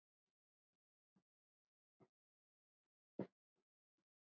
Nú ert þú farin líka.